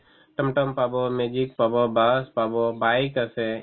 ত'ম ত'ম পাব, magic পাব, bus পাব, bike আছে